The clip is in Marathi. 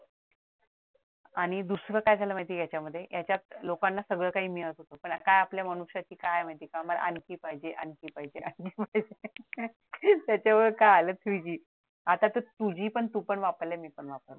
आणि दुसरा काय झालं माहिती आहे का याच्यामध्ये याचात लोकांना सगळं काही मिळत होत पण काय आपला मनुष्याचे काय माहितीये का मला आणखी पाहिजे आणखी पाहिजे त्याच्यावर काय आलं two G आता तर two G तू पण वापरलं मी पण वापरले